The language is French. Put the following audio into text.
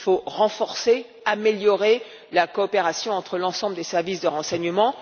Il faut renforcer, améliorer la coopération entre l'ensemble des services de renseignements.